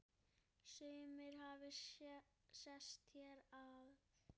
Sumir hafi sest hér að.